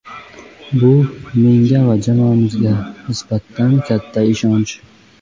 Bu — menga va jamoamizga nisbatan juda katta ishonch.